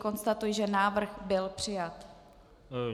Konstatuji, že návrh byl přijat.